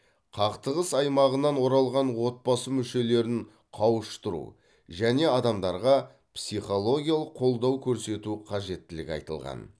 қақтығыс аймағынан оралған отбасы мүшелерін қауыштыру және адамдарға психологиялық қолдау көрсету қажеттілігі айтылған